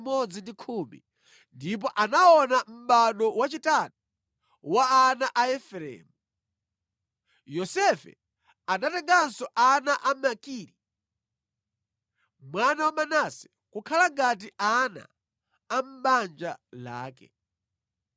ndipo anaona mʼbado wachitatu wa ana a Efereimu. Yosefe anatenganso ana a Makiri, mwana wa Manase kukhala ngati ana a mʼbanja lake.